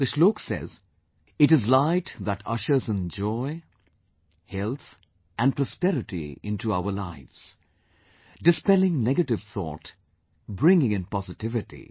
The shlok says It is Light that ushers in joy, health and prosperity into our lives, dispelling negative thought, bringing in positivity